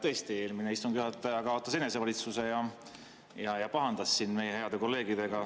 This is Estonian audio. Tõesti, eelmine istungi juhataja kaotas enesevalitsuse ja pahandas siin meie heade kolleegidega.